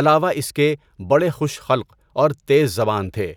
علاوہ اس کے بڑے خوش خلق اور تیز زبان تھے۔